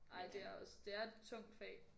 Ej det er også det er et tungt fag